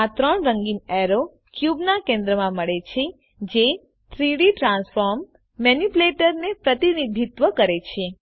આ ત્રણ રંગીન એરો ક્યુબના કેન્દ્રમાં મળે છે જે 3ડી ટ્રાન્સફોર્મ મેનીપ્યુલેટરને પ્રતિનિધિત્વ કરે છે